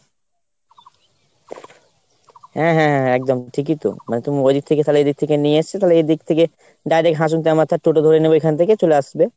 হ্যাঁ হ্যাঁ হ্যাঁ একদম ঠিকই তো। মানে তু ওদিক থেকে তালে এদিক থেকে নিয়ে এসে তালে এদিক থেকে direct হাসুদামাথার toto ধরে নেবে এখন থেকে চলে আসবে।